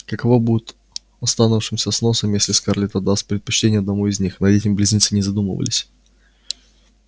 каково будет оставшемуся с носом если скарлетт отдаст предпочтение одному из них над этим близнецы не задумывались